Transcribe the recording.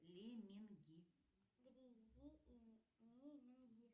лемминги